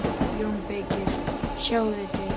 JÓN BEYKIR: Sjáið þið til!